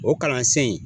O kalansen